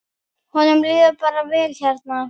Honum líður bara vel hérna.